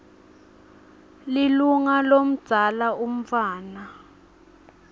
lilunga lomdzala umntfwana